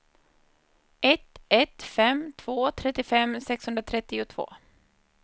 ett ett fem två trettiofem sexhundratrettiotvå